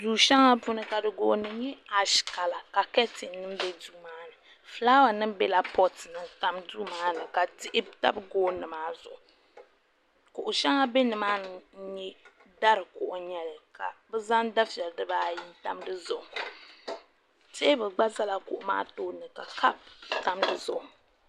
du shɛŋa puuni ka gooni nyɛ ash kala ka kɛtin nim bɛ duu maa ni fulaawa nim biɛla poot ni n tam duu maa ni ka diɣi tabi gooni maa ni kuɣu shɛŋa bɛ nimaani n nyɛ dari kuɣu n nyɛli ka bi zaŋ dufɛli dibaayi n tam dizuɣu teebuli gba ʒɛla kuɣu maa tooni ka kaap tam dizuɣu